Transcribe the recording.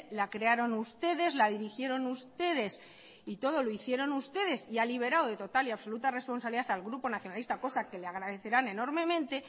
la crearon ustedes la dirigieron ustedes y todo lo hicieron ustedes y ha liberado de total y absoluta responsabilidad al grupo nacionalista cosa que le agradecerán enormemente